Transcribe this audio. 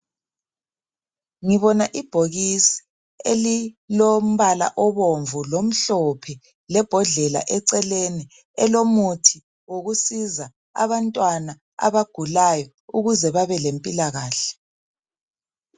Ngibona ibhokisi elilombala obomvu lomhlophe lebhodlela eliseceleni elomuthi wokusiza abantwana abagulayo ukuze babelempilakahle.